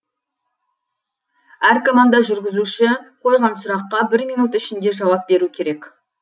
әр команда жүргізуші қойған сұраққа бір минут ішінде жауап беру керек